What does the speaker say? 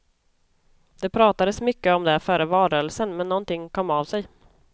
Det pratades mycket om det före valrörelsen men någonting kom av sig.